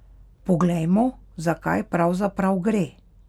Poglejmo, za kaj pravzaprav gre.